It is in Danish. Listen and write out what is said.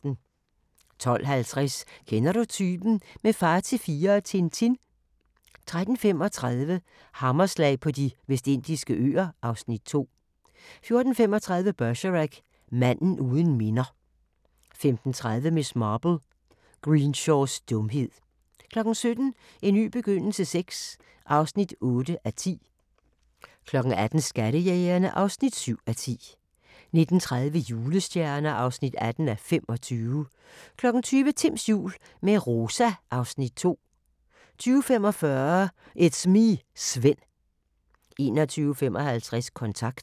12:50: Kender du typen? – med Far til fire og Tintin 13:35: Hammerslag på De Vestindiske Øer (Afs. 2) 14:35: Bergerac: Manden uden minder 15:30: Miss Marple: Greenshaws dumhed 17:00: En ny begyndelse VI (8:10) 18:00: Skattejægerne (7:10) 19:30: Julestjerner (18:25) 20:00: Timms jul – med Rosa (Afs. 2) 20:45: It's me, Svend 21:55: Kontant